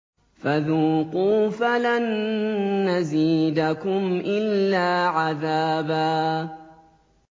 فَذُوقُوا فَلَن نَّزِيدَكُمْ إِلَّا عَذَابًا